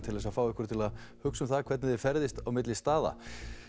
til að fá okkur til að hugsa um hvernig við ferðumst milli staða